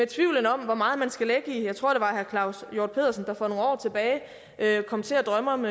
tvivl om hvor meget man skal lægge i at herre claus hjort pedersen var for nogle år tilbage kom til at drømme om